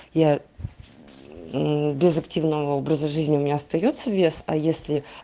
я без активного образа жизни у меня остаётся вес а если